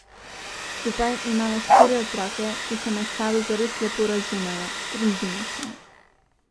Skupaj imava štiri otroke, ki se med sabo zares lepo razumejo, družina smo.